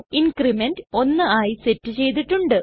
increment 1 ആയി set ചെയ്തിട്ടുണ്ട്